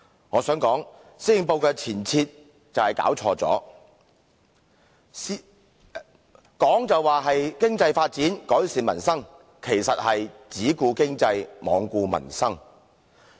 我想說施政報告就是弄錯了前提，口就說"發展經濟，改善民生"，其實是"只顧經濟，罔顧民生"。